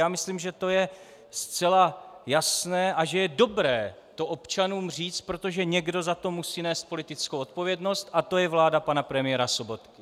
Já myslím, že to je zcela jasné a že je dobré to občanům říci, protože někdo za to musí nést politickou odpovědnost a to je vláda pana premiéra Sobotky.